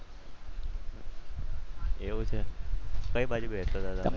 એવું છે કઈ બાજુ બેસાતા તમે?